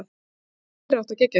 Það var alveg meiriháttar geggjað.